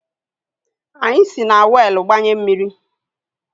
Anyị si na weelu gbanye mmiri